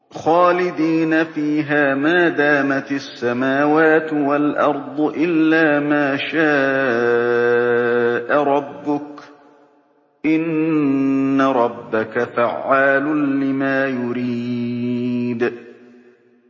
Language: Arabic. خَالِدِينَ فِيهَا مَا دَامَتِ السَّمَاوَاتُ وَالْأَرْضُ إِلَّا مَا شَاءَ رَبُّكَ ۚ إِنَّ رَبَّكَ فَعَّالٌ لِّمَا يُرِيدُ